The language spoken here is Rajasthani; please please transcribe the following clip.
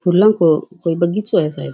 फूलो को कोई बगीचों है सायद --